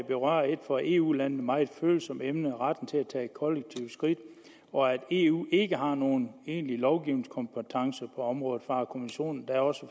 berører et for eu landene meget følsomt emne nemlig retten til at tage kollektive skridt og at eu ikke har nogen egentlig lovgivningskompetence på området farer kommissionen da også